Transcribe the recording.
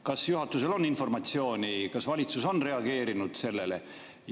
Kas juhatusel on informatsiooni, kas valitsus on reageerinud sellele?